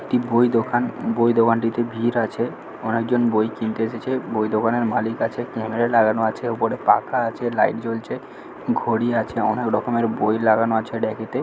একটি বই দোকান বই দোকানটিতে ভিড় আছে অনেকজন বই কিনতে এসেছে বই দোকানের মালিক আছে ক্যামেরা লাগানো আছে উপরে পাখা আছে লাইট জ্বলছে ঘড়ি আছে অনেক রকমের বই লাগানো আছে র‍্যাকেতে ।